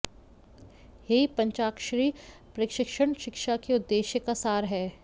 यही पंचाक्षरी प्रशिक्षण शिक्षा के उद्देश्य का सार है